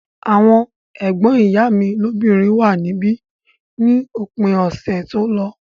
Àwọn ẹ̀gbọ́n ìyá mi lóbìnrin wà níbí ní òpin ọ̀sẹ̀ tó lọ